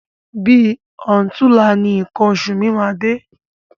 Bi ọ̀túnla ni nǹkan oṣù mi máa dé.